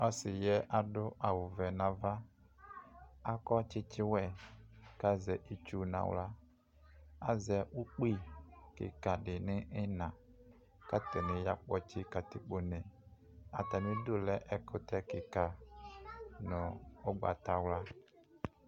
Ɔsiyɛ adʋ awʋvɛ nʋ ava akɔ tsitsiwe kʋ azɛ itsʋ nʋ aɣla azɛ ʋkpi kikadi nʋ iina kʋ atani yakpɔtsi katikpone atami idʋ lɛ ɛkʋtɛ kika nʋ ʋgbatawla